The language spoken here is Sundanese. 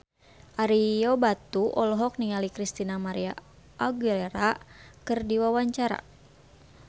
Ario Batu olohok ningali Christina María Aguilera keur diwawancara